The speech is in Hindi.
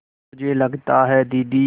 मुझे लगता है दीदी